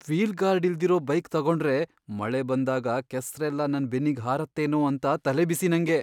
Wheel guard ಇಲ್ದಿರೋ bike ತಗೊಂಡ್ರೆ ಮಳೆ ಬಂದಾಗ ಕೆಸ್ರೆಲ್ಲ ನನ್ ಬೆನ್ನಿಗ್ ಹಾರತ್ತೇನೋ ಅಂತ ತಲೆಬಿಸಿ ನಂಗೆ.